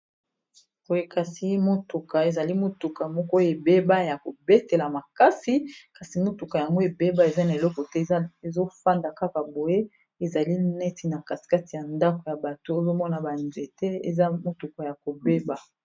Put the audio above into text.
Boye kasi motuka ezali motuka moko ebeba ya kobetela makasi kasi motuka yango ebeba eza na eloko te ezofanda kaka boye ezali neti na katikati ya ndako ya bato ozomona ba nzete eza motuka ya kobeba.